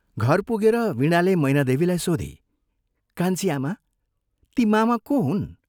घर पुगेर वीणाले मैनादेवीलाई सोधी, " कान्छी आमा, ती मामा को हुन्?